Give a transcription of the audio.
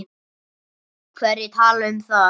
Hverjir tala um það?